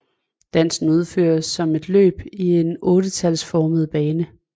Dansen udføres som et løb i en ottetalsformet bane